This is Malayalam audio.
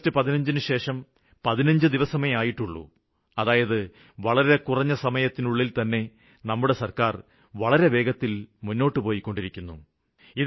ആഗസ്റ്റ് 15നു ശേഷം 15 ദിവസമേ ആയിട്ടുള്ളൂ അതായത് വളരെ കുറഞ്ഞ സമയത്തിനുള്ളില്തന്നെ നമ്മുടെ സര്ക്കാര് വളരെ വേഗത്തിലാണ് മുന്നോട്ടു പോയിക്കൊണ്ടിരിക്കുന്നത്